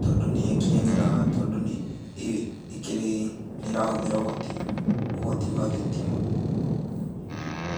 tondũ nĩakĩenyeraga tondũ ĩkĩrĩ nĩrahũthĩra ũhoti ũhoti wa thitima.